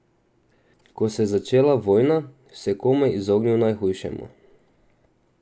Ko se je začela vojna, se je komaj izognil najhujšemu.